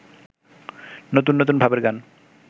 নতুন নতুন ভাবের গান